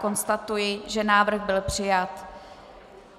Konstatuji, že návrh byl přijat.